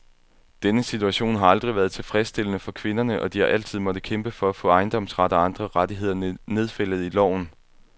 Denne situation har aldrig været tilfredsstillende for kvinderne, og de har altid måttet kæmpe for at få ejendomsret og andre rettigheder nedfældet i loven.